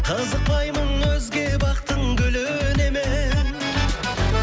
қызықпаймын өзге бақтың гүліне мен